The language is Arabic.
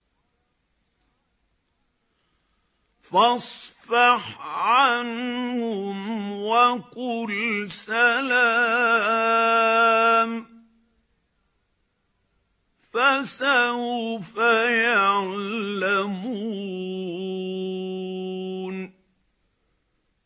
فَاصْفَحْ عَنْهُمْ وَقُلْ سَلَامٌ ۚ فَسَوْفَ يَعْلَمُونَ